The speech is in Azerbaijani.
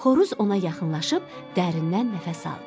Xoruz ona yaxınlaşıb dərindən nəfəs aldı.